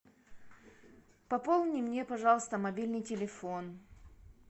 пополни мне пожалуйста мобильный телефон